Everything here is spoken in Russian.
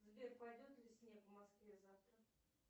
сбер пойдет ли снег в москве завтра